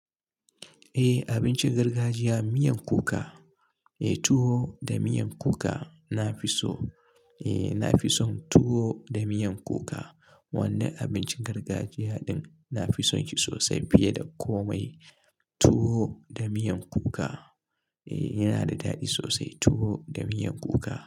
Eh abincin gargajiya miyan kuka, eh tuwo da miyan kuka na fi so. Eh na fi son tuwo da miyan kuka. Wannan abincin gargajiya ɗin na fi son shi sosai fiye da komai. Tuwo da miyan kuka. Eh yana da daɗi sosai tuwo da miyan kuka.